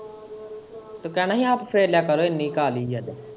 ਤੂੰ ਕਹਿਣਾ ਹੀ ਆਪ ਫੇਰ ਲਿਆ ਕਰ ਇੰਨੀ ਕਾਹਲ਼ੀ ਏ ਤੇ।